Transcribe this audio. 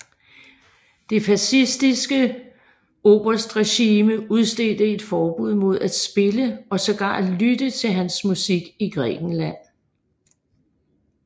Det fascistiske oberstregime udstedte et forbud mod at spille og sågar lytte til hans musik i Grækenland